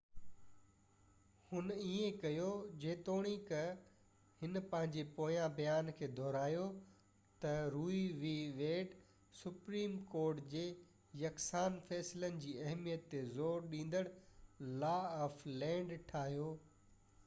هن ائين ڪيو جيتوڻيڪ هن پنهنجي پوئين بيان کي دهرايو ته Roe v Wade supreme court جي يڪسان فيصلن جي اهميت تي زور ڏيندڙ لا آف لينڊ ٺاهيو